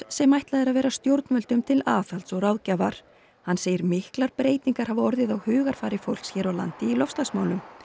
sem ætlað er að vera stjórnvöldum til aðhalds og ráðgjafar hann segir miklar breytingar hafa orðið á hugarfari fólks hér á landi í loftslagsmálum